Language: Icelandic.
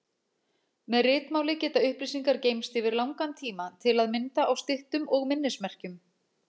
Með ritmáli geta upplýsingar geymst yfir langan tíma, til að mynda á styttum og minnismerkjum.